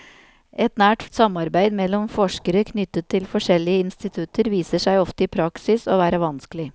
Et nært samarbeid mellom forskere knyttet til forskjellige institutter viser seg ofte i praksis å være vanskelig.